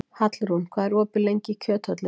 Hallrún, hvað er opið lengi í Kjöthöllinni?